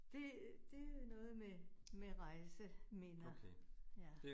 Det det øh noget med med rejseminder. Ja